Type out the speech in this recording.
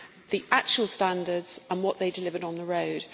the actual standards and what they delivered on the road.